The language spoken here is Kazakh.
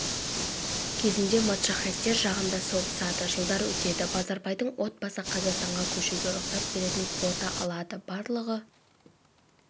кезінде моджахеттер жағында соғысады жылдар өтеді базарбайдың отбасы қазақстанға көшуге рұқсат беретін квота алады барлығы